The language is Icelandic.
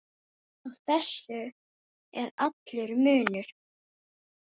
Á þessu er allur munur.